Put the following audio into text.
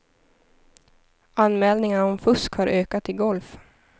Anmälningar om fusk har ökat i golf.